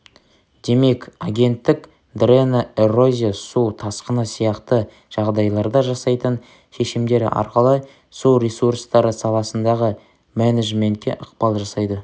демек агенттік дрена эрозия су тасқыны сияқты жағдайларда жасайтын шешімдері арқылы су ресурстары саласындағы менеджментке ықпал жасайды